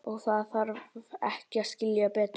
Og þarf ekki að skilja betur.